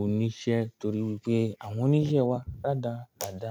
oníṣẹ́ torí wípé àwọn oníṣẹ́ wa rádarada.